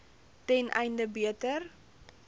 ten einde beter